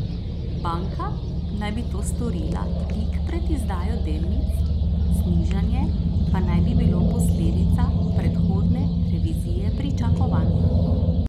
Banka naj bi to storila tik pred izdajo delnic, znižanje pa naj bi bilo posledica predhodne revizije pričakovanj.